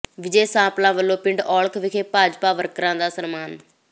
ਵਿਜੇ ਸਾਂਪਲਾ ਵੱਲੋਂ ਪਿੰਡ ਔਲਖ ਵਿਖੇ ਭਾਜਪਾ ਵਰਕਰਾਂ ਦਾ ਸਨਮਾਨ